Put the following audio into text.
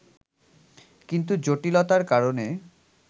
কিন্তু জটিলতার কারণে